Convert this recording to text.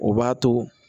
O b'a to